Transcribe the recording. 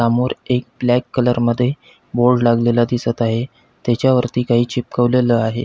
समोर एक black colour मध्ये बोर्ड लागलेला दिसत आहे त्याच्या वरती काही चिपकवलेल आहे.